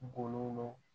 Golo